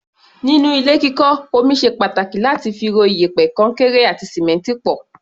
Nínú ilé kíkọ́, omi ṣe pàtàkì láti fi ro iyẹ̀pẹ̀, kọnkéré àti sìmẹ́ǹtì pọ̀.